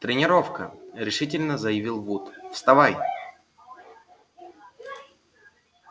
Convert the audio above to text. тренировка решительно заявил вуд вставай